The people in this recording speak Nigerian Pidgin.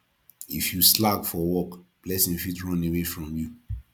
if you slack for work blessing fit run away from you